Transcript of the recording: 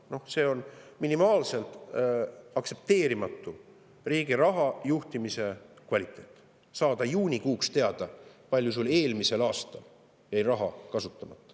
Noh, see on minimaalselt aktsepteerimatu riigi raha juhtimise kvaliteet, saada juunikuuks teada, kui palju sul eelmisel aastal jäi raha kasutamata.